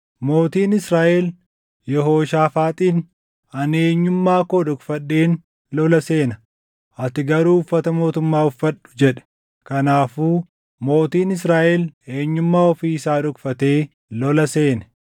Mootiin Israaʼel Yehooshaafaaxiin, “Ani eenyummaa koo dhokfadheen lola seena; ati garuu uffata mootummaa uffadhu” jedhe. Kanaafuu mootiin Israaʼel eenyummaa ofii isaa dhokfatee lola seene.